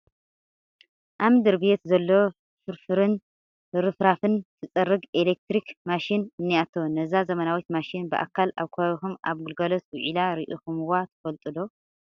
ኣብ ምድሪ-ቤት ዘሎ ፍርፋርን ርፍራፍን ትፀርግ ኤለክትሪክ ማሽን እኔቶ፡፡ ነዛ ዘመናዊት ማሽን ብኣካል ኣብ ከባቢኹም ኣብ ግልጋሎት ውዒላ ርኢኹምዋ ትፈልጡ ዶ?